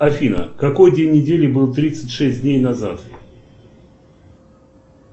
афина какой день недели был тридцать шесть дней назад